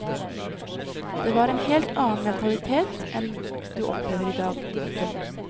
Det var en helt annen mentalitet enn du opplever i dag. punktum